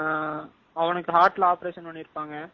ஆஹ் அவனுக்கு heart ல operation பண்ணிருப்பாங்க.